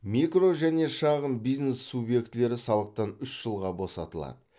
микро және шағын бизнес субъектілері салықтан үш жылға босатылады